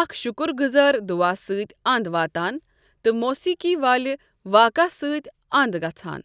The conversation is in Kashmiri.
اکھ شُکرگُزار دعا سۭتۍ اَنٛد واتان تہٕ موسیٖقی والِہ واقعہٕ سۭتۍ اَنٛد گژھان۔